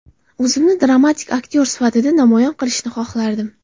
O‘zimni dramatik aktyor sifatida namoyon qilishni xohlardim.